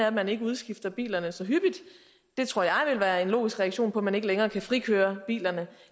at man ikke udskifter bilerne så hyppigt det tror jeg vil være en logisk reaktion på at man ikke længere kan frikøre bilerne